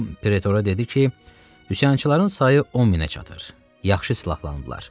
O Pretora dedi ki, üsyançıların sayı 1000-ə çatır, yaxşı silahlanıblar.